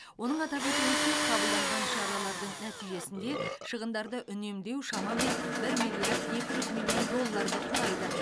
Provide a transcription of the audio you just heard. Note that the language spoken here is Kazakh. оның атап өтуінше қабылданған шаралардың нәтижесінде шығындарды үнемдеу шамамен бір миллиард екі жүз миллион долларды құрайды